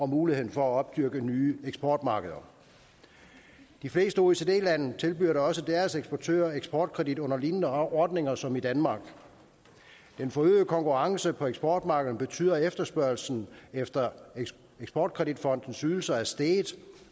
muligheden for at opdyrke nye eksportmarkeder de fleste oecd lande tilbyder da også deres eksportører eksportkredit under lignende ordninger som i danmark den forøgede konkurrence på eksportmarkederne betyder at efterspørgslen efter eksport kredit fondens ydelser er steget